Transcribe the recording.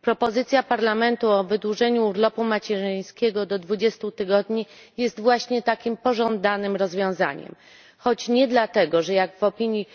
Propozycja Parlamentu o wydłużeniu urlopu macierzyńskiego do 20 tygodni jest właśnie takim pożądanym rozwiązaniem choć nie dlatego, że jak w opinii